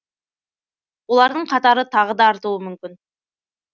олардың қатары тағы да артуы мүмкін